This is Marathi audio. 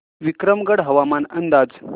विक्रमगड हवामान अंदाज